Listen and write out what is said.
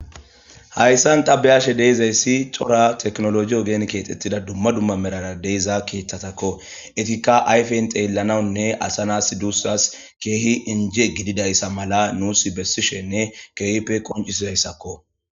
Hayssan tabeyashe deizayssi tora teknoloi ogen keexxettida dumma dumma merara deiza keeththatakko etikka ayfen xeellanawunne asanas duussas keehi injie gididayssa mala nuus bessishenne keehipe qoncisidayssakko.